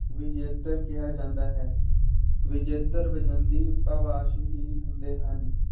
ਵਿਜੇਤਰ ਕਿਹਾ ਜਾਂਦਾ ਹੈ ਵਿਜੇਤਰ ਵਜੰਦੀ ਭਾਵਾਂਸ਼ ਵੀ ਹੁੰਦੇ ਹਨ।